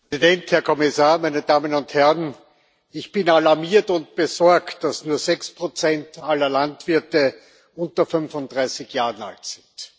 Herr Präsident, Herr Kommissar, meine Damen und Herren! Ich bin alarmiert und besorgt, dass nur sechs Prozent aller Landwirte unter 35 Jahre alt sind.